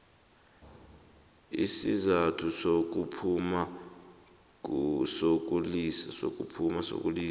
isizathu sokuphuma sokulisa